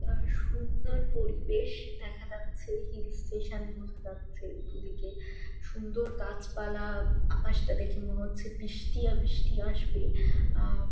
আর সুন্দর পরিবেশ দেখা যাচ্ছে হিল স্টেশন বোঝা যাচ্ছে দুদিকে সুন্দর গাছ পালা আকাশটা দেখে মনে হচ্ছে বৃষ্টি আর বৃষ্টি আসবে আ--